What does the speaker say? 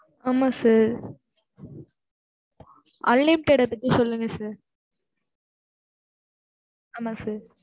ஆமா sir unlimited பத்தி சொல்லுங்க sir ஆமா sir